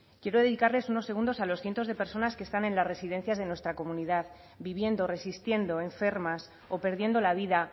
quiero dedicarles unos segundos a los cientos de personas que están en las residencias de nuestra comunidad viviendo resistiendo enfermas o perdiendo la vida